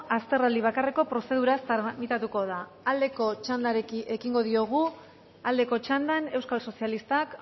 azterraldi bakarreko prozeduraz tramitatuko da aldeko txandari ekingo diogu aldeko txandan euskal sozialistak